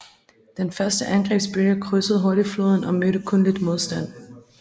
Den første angrebsbølge krydsede hurtigt floden og mødte kun lidt modstand